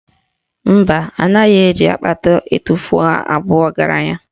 Mba, anaghị eji akpata etufuo abụ ọgaranya